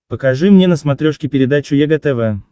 покажи мне на смотрешке передачу егэ тв